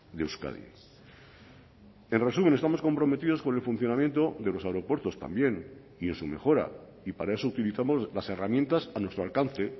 de euskadi en resumen estamos comprometidos con el funcionamiento de los aeropuertos también y en su mejora y para eso utilizamos las herramientas a nuestro alcance